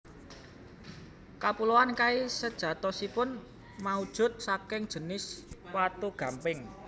Kapuloan Kai sejatosipun maujud saking jinis watu gamping